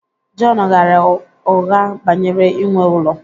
Jọn ghaara ụgha banyere inwe ụlọ